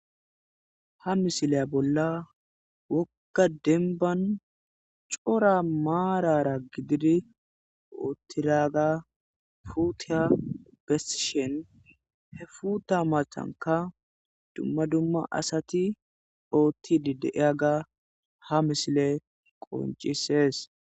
Ha misileya bolla wokka denban cora maarara gididi oottiraga fuutea besshen he futa macanka dumma dumma asati oottidi deiyaga ha misile qoncisees.